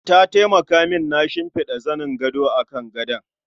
Ta taimaka min na shimfida zanin gado akan gadon.